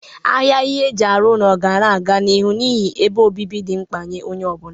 Ahịa ihe eji arụ ụlọ ga na-aga n'ịrụ n'ihi ebe obibi dị mkpa nye onye ọ bụla.